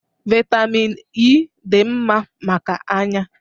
Vitamịn Ẹ́ dị mma maka anya.